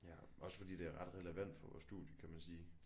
Ja også fordi det er ret relevant for vores studie kan man sige